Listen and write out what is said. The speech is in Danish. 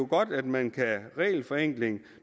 godt at man kan regelforenkle